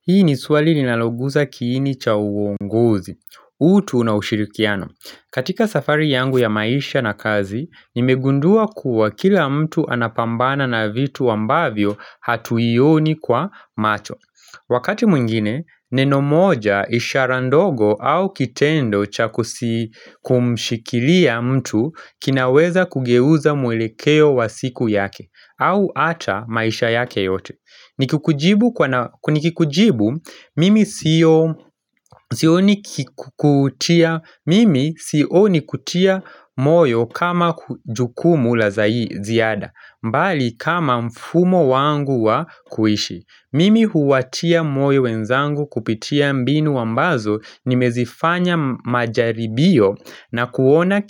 Hii ni swali linaloguza kiini cha uongozi. Utu na ushirikiano. Katika safari yangu ya maisha na kazi, nimegundua kuwa kila mtu anapambana na vitu ambavyo hatuioni kwa macho. Wakati mwingine, neno moja ishara ndogo au kitendo cha kumshikilia mtu kinaweza kugeuza mwelekeo wa siku yake, au ata maisha yake yote. Ni kikujibu, mimi sioni kutia moyo kama jukumu la ziada mbali kama mfumo wangu wa kuishi. Mimi huwatia moyo wenzangu kupitia mbinu ambazo nimezifanya majaribio na kuona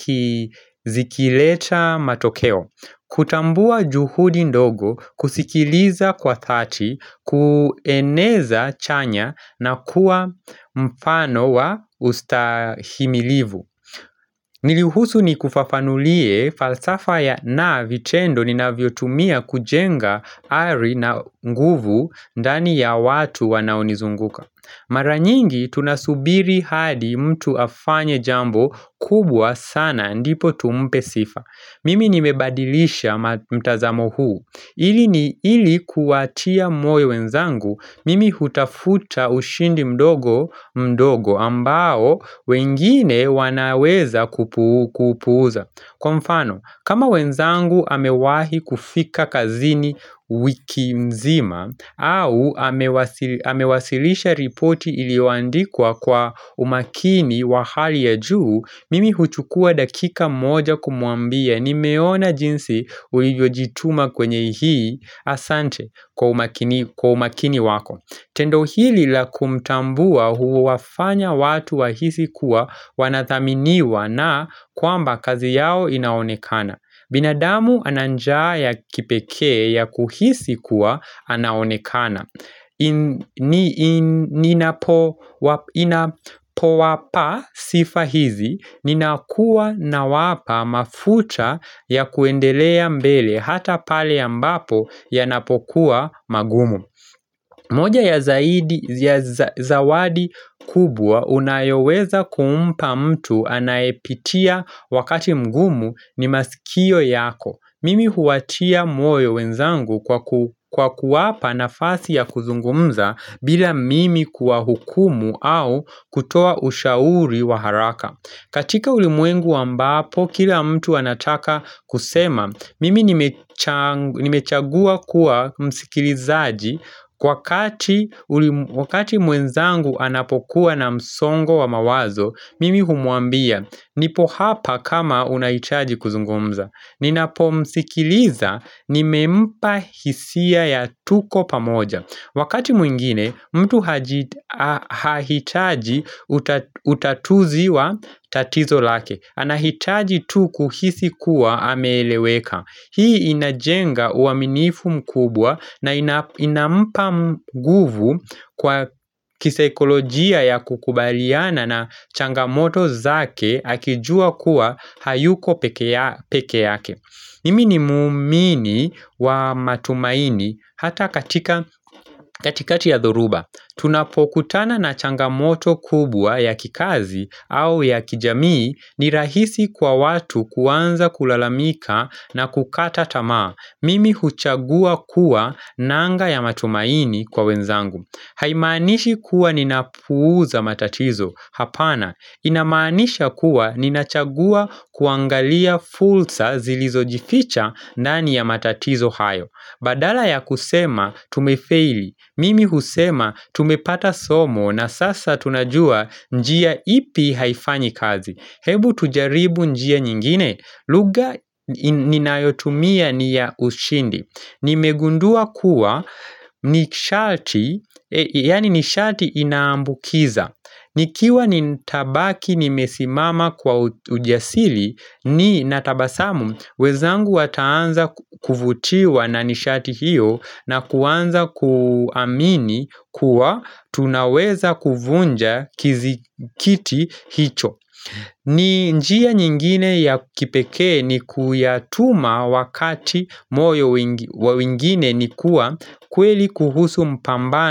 zikileta matokeo kutambua juhudi ndogo kusikiliza kwa dhati kueneza chanya na kuwa mfano wa ustahimilivu Niruhusu ni kufafanulie falsafa ya na vitendo ni naviotumia kujenga hali na nguvu ndani ya watu wanaunizunguka Mara nyingi tunasubiri hadi mtu afanye jambo kubwa sana ndipo tumpe sifa. Mimi nimebadilisha mtazamo huu, ili kuwatia moyo wenzangu, mimi hutafuta ushindi mdogo. Mdogo ambao wengine wanaweza kuupuza. Kwa mfano, kama wenzangu amewahi kufika kazini wiki nzima au amewasilisha ripoti ilioandikwa kwa umakini wa hali ya juu, mimi huchukua dakika moja kumwambia ni nimeona jinsi ulivyojituma kwenye hii asante kwa umakini wako. Tendo hili la kumtambua huwafanya watu wahisi kuwa wanathaminiwa na kwamba kazi yao inaonekana. Binadamu ananjaa ya kipekee ya kuhisi kuwa anaonekana. Inapowapa sifa hizi, ninakuwa na wapa mafuta ya kuendelea mbele hata pale ya ambapo yanapokuwa magumu. Moja ya zawadi kubwa unayoweza kuumpa mtu anaepitia wakati mgumu ni masikio yako. Mimi huatia moyo wenzangu kwa kuwapa nafasi ya kuzungumza bila mimi kuwa hukumu au kutoa ushauri wa haraka. Katika ulimwengu ambapo, kila mtu anataka kusema, mimi nimechagua kuwa msikilizaji wakati mwenzangu anapokuwa na msongo wa mawazo, mimi humwambia, nipo hapa kama unahitaji kuzungumza. Ninapo msikiliza nimempa hisia ya tuko pamoja Wakati mwingine mtu hahitaji utatuzi wa tatizo lake. Anahitaji tu kuhisi kuwa ameleweka. Hii inajenga uaminifu mkubwa na inampa nguvu kwa kisekolojia ya kukubaliana na changamoto zake akijua kuwa hayuko peke yake Mimi ni mumini wa matumaini hata katika katikati ya dhuruba tunapokutana na changamoto kubwa ya kikazi au ya kijamii ni rahisi kwa watu kuanza kulalamika na kukata tama Mimi huchagua kuwa nanga ya matumaini kwa wenzangu Haimanishi kuwa ninapuuza matatizo hapana, inamanisha kuwa ninachagua kuangalia fulsa zilizojificha ndani ya matatizo hayo badala ya kusema tumefeili Mimi husema tumepata somo na sasa tunajua njia ipi haifanyi kazi. Hebu tujaribu njia nyingine lugha ninayotumia niya ushindi nimegundua kuwa ni sharti, yani ni sharti inaambukiza Nikiwa nitabaki ni mesimama kwa ujasili ni natabasamu wezangu wataanza kuvutiwa na nishati hiyo na kuanza kuamini kuwa tunaweza kuvunja kizikiti hicho. Njia nyingine ya kipekee ni kuyatuma wakati moyo wa wengine ni kuwa kweli kuhusu mpambano.